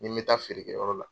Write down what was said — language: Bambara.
N bɛ taa feerekɛyɔrɔ la